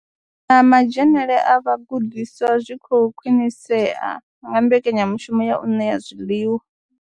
Na madzhenele a vhagudiswa zwi khou khwinisea nga mbekanyamushumo ya u ṋea zwiḽiwa.